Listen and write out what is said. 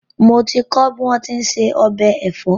Mo ti kọ́ bí wón ti ń se ọbẹ̀ ẹ̀fọ́